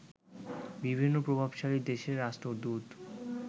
বিভিন্ন প্রভাবশালী দেশের রাষ্ট্রদূত